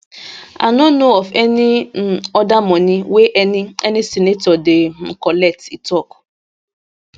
i no know of any um oda moni wey any any senator dey um collect e tok